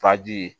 Faji ye